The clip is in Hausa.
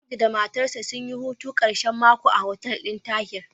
Audu da matarsa sun yi hutun ƙashen mako a hotel ɗin Tahi.